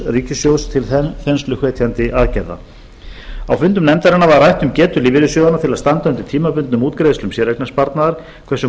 ríkissjóðs til þensluhvetjandi aðgerða á fundum nefndarinnar var rætt um getu lífeyrissjóðanna til að standa undir tímabundnum útgreiðslum séreignarsparnaðar hversu